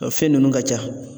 O fɛn ninnu ka .ca.